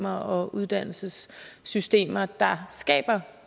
og uddannelsessystemer der skaber